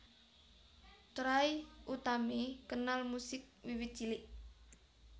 Trie Utami kenal musik wiwit cilik